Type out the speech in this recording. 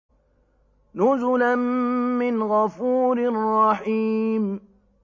نُزُلًا مِّنْ غَفُورٍ رَّحِيمٍ